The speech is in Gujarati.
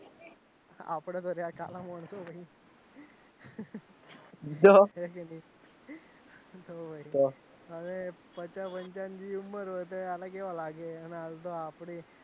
આપડે તો જ્યાં ખાડામાં હવે પચા પંચાવન જેટલી ઉમર હોય ત્યારે કેવા લાગે આપડે